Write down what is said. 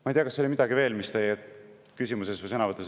Ma ei tea, kas oli midagi veel, mis teie küsimuses või sõnavõtus …